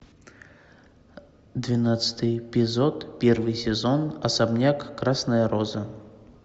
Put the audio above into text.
двенадцатый эпизод первый сезон особняк красная роза